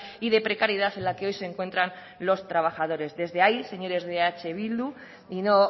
y de precariedad en la que hoy se encuentran los trabajadores desde ahí señores de eh bildu y no